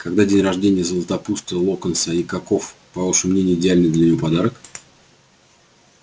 когда день рождения златопуста локонса и каков по вашему мнению идеальный для него подарок